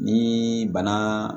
Ni bana